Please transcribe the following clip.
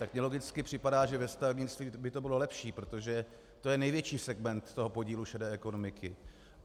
Tak mi logicky připadá, že ve stavebnictví by to bylo lepší, protože to je největší segment toho podílu šedé ekonomiky.